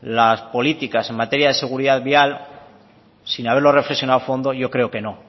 las políticas en materia de seguridad vial sin haberlo reflexionado a fondo yo creo que no